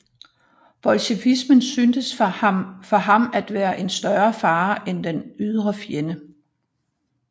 Bolchevismen syntes for ham at være en større fare end den ydre fjende